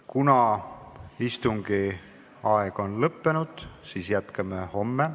Kuna istungi aeg on lõppenud, siis jätkame homme.